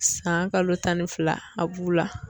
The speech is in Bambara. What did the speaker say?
San kalo tan ni fila a b'u la.